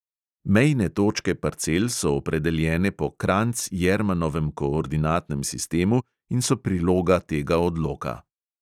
Mejne točke parcel so opredeljene po kranjc-jermanovem koordinatnem sistemu in so priloga tega odloka.